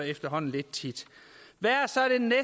efterhånden lidt tit hvad er